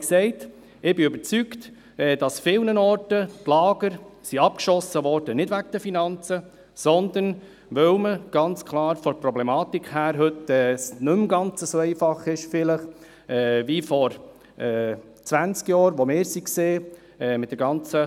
Wie gesagt, ich bin überzeugt, dass es an vielen Orten, wo die Lager geschossen wurden, nicht wegen der Finanzen war, sondern, ganz klar wegen der Problematik, dass es heute, mit der ganzen Natel-Problematik, nicht mehr ganz so einfach ist, wie vielleicht noch vor zwanzig Jahren, als wir in die Lager gingen.